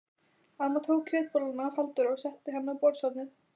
Amma tók kjötbolluna af Halldóri og setti hana á borðshornið.